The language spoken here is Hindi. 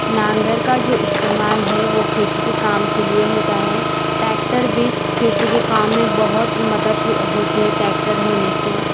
नांगर का जो इस्तेमाल है वो खेती के काम के लिए होता है ट्रैक्टर भी खेती के काम मैं बहुत मदद हो होती है ट्रैक्टर के होने से --